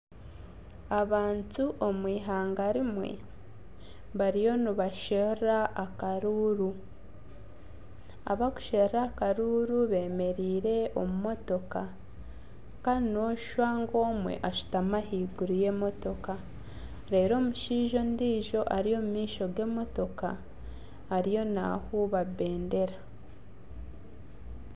Abantu omw'eihanga rimwe bariyo nibasherura karuuru, abakusherura akaruuru bemereire omu motooka kandi noshusha ngu omwe ashutami ahaiguru y'emotooka reeru omushaija ondijo ari omumaisho g'emotooka ariyo nahuuba bendera.